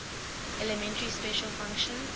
elementary special functions